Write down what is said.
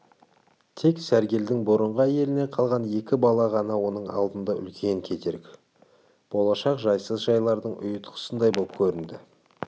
тек сәргелдің бұрынғы әйелінен қалған екі бала ғана оның алдында үлкен кедергі болашақ жайсыз жайлардың ұйытқысындай боп көрінді